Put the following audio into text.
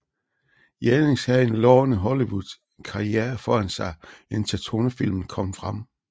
Jannings havde en lovende Hollywood karriere foran sig indtil tonefilmen kom frem